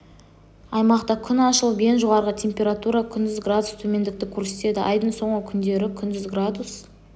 аймақта күн ашылып ең жоғары температура күндіз градус төмендікті көрсетеді айдың соңғы күндері күндіз градус